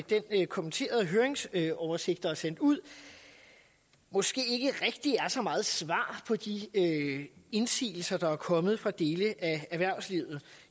den kommenterede høringsoversigt der er sendt ud måske ikke rigtig giver så meget svar på de indsigelser der er kommet fra dele af erhvervslivet